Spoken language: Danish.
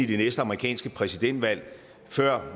det næste amerikanske præsidentvalg før